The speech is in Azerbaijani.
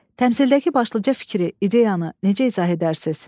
Təmsildəki başlıca fikri, ideyanı necə izah edərsiz?